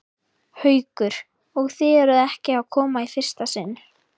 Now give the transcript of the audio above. Haukur: Og þið eruð ekki að koma í fyrsta sinn?